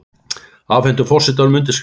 Afhentu forsetanum undirskriftir